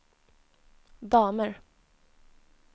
damer